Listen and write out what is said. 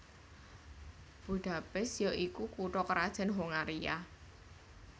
Budapest ya iku kutha krajan Hongaria